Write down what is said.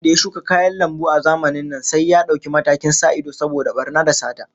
Duk wanda ya shuka kayan lambu a zamanin nan sai ya dauki matakin sa ido saboda barna da sata